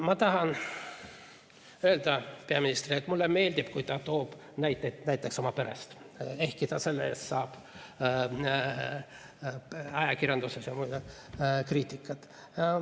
Ma tahan öelda peaministrile, et mulle meeldib, kui ta toob näiteid oma perest, ehkki ta saab selle eest ajakirjanduses ja mujal kriitikat.